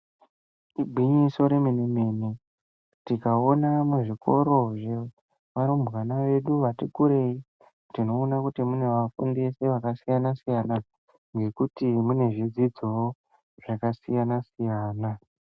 Igwinyiso remene-mene tikaona zvikoro zvevarumbwana vedu vati kurirei tinoona kuti munevafundisi vakasiyana siyana nekuti mune zvidzidzowo zvakanakisa siyana.